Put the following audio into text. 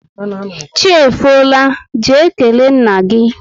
Chi efola, jee kelee nna gị!